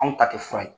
Anw ta tɛ fura ye